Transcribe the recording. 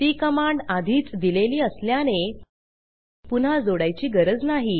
ती कमांड आधीच दिलेली असल्याने पुन्हा जोडायची गरज नाही